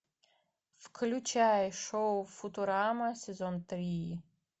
включай шоу футурама сезон три